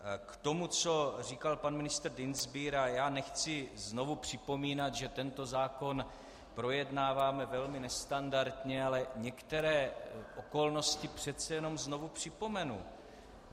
K tomu, co říkal pan ministr Dienstbier - a já nechci znovu připomínat, že tento zákon projednáváme velmi nestandardně, ale některé okolnosti přece jenom znovu připomenu.